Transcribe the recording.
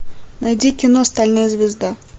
найди кино стальная звезда